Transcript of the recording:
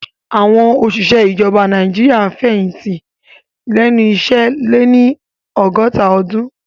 Àwọn òṣìṣẹ́ ìjọba Nàìjíríà ń fẹ̀yìntì lẹ́nu iṣẹ́ lẹ́ni ọgọ́ta ọdún